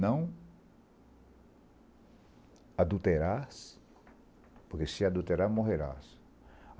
Não adulterar-se, porque se adulterar morrerá